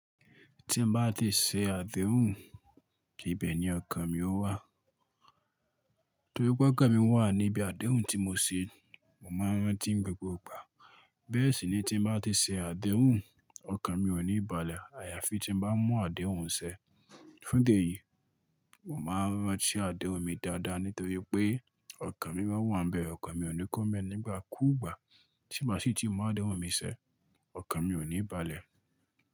Tí mo bá ti ṣe àdéhùn, ibẹ̀ ni ọkàn mi ó wà. Nítorí pé ọkàn mi wà ní ibi àdéhùn tí mo ṣe, mo máa ń rántí gbogbo ìgbà. Bẹ́ẹ̀ sì ni tí mo bá ti ṣe àdéhùn, ọkàn mi ò ní balẹ̀. Àyàfi tí mo bá mú àdéhùn ṣe. Fun téèyí, mo máa ń rántí àdéhùn mi dáadáa nítorí pé ọkàn mi máa wà níbẹ̀. Ọkàn mi ò ní kọ́mẹ̀ nígbà kú ìgbà. Tí mo bá sì ti mú àdéhùn mi ṣẹ, ọkàn mi ò ní balẹ̀